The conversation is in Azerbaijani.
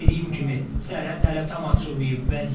Dediyim kimi, sərhəd hələ tam açılmayıb.